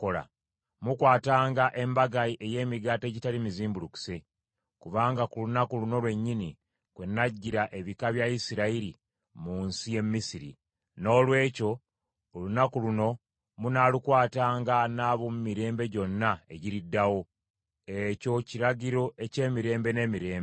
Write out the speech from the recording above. “Mukwatanga Embaga ey’Emigati Egitali mizimbulukuse, kubanga ku lunaku luno lwennyini kwe naggyira ebika bya Isirayiri mu nsi y’e Misiri. Noolwekyo olunaku luno munaalukwatanga n’ab’omu mirembe gyonna egiriddawo. Ekyo kiragiro eky’emirembe n’emirembe.